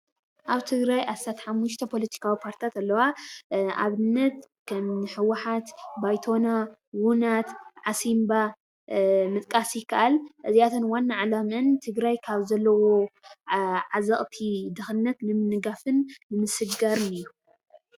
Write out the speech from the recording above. ኣብ ትግራይ ዓሰርተ ሓሙሽተ ፓለቲካዊ ፓርትታት ኣለዋ ። ኣብነት ከምኒ ህወሓት ፣ ባይቶና፣ ውነት ፣ ዓሲምባ ምጥቃስ ይከኣል እዚኣተን ዋና ዓላመአን ትግራይ ካብ ዘለዎ ዓዘቕቲ ድኽነት ንምንጋፍን ንምስግጋርን እዩ።